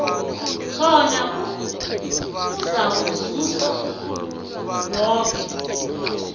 khona kuzakuzuza woke